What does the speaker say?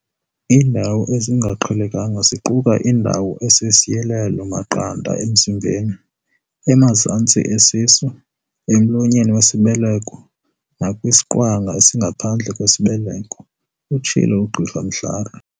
"Iindawo ezingaqhelekanga ziquka indawo esisiyilelo-maqanda emzimbeni, emazantsi esisu, emlonyeni wesibeleko nakwisiqwanga esingaphandle kwesibeleko," utshilo uGqr Mhlari.